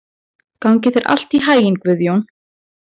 Gangi þér allt í haginn, Guðjón.